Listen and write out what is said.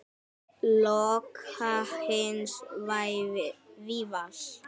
Loka hins lævísa.